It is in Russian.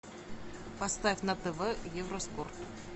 поставь на тв евроспорт